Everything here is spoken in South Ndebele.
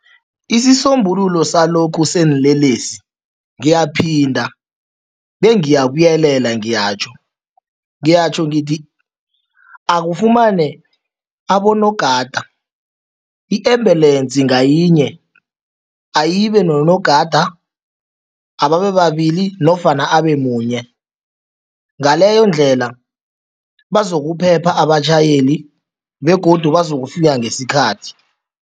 Isisombululo salokhu seenlelesi ngiyaphinda bengiyabuyelela ngiyatjho, ngiyatjho ngithi akufumane abonogada i-embulensi ngayinye ayibe nonogada, ababababili nofana abemunye. Ngaleyondlela bazokuphepha abatjhayeli begodu bazokufika ngesikhathi.